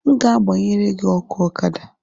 m ga-gbanyere gị ọkụ Ọkada